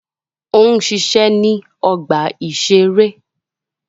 Ó ń ṣiṣẹ́ ní ọgbà-ìṣeré